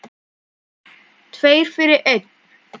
Tveir fyrir einn.